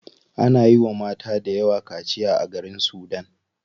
Ana yiwa mata dayawa kaciya a garin sudan.